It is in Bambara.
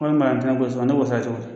Wari min bɛ yan ne b'o sara cogo di.